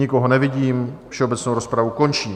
Nikoho nevidím, všeobecnou rozpravu končím.